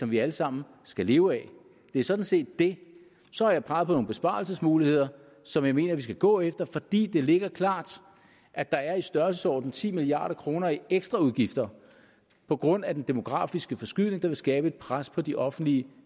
vi alle sammen skal leve af det er sådan set det så har jeg peget på nogle besparelsesmuligheder som jeg mener vi skal gå efter fordi det ligger klart at der er i størrelsesordenen ti milliard kroner i ekstra udgifter på grund af den demografiske forskydning der vil skabe et pres på de offentlige